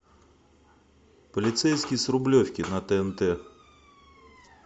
полицейский с рублевки на тнт